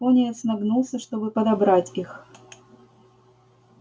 пониетс нагнулся чтобы подобрать их